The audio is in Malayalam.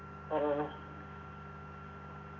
ആ